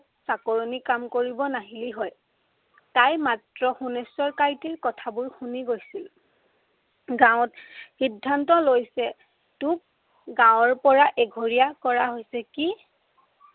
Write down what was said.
চাকৰণি কাম কৰিবল নাহিল হয়। তাই মাত্ৰ সোণেশ্বৰ কাইটিৰ কথাবোৰ শুনি গৈছিল। গাঁৱত সিদ্ধান্ত লৈছে তোক গাঁৱৰ পৰা এঘৰীয়া কৰা হৈছে।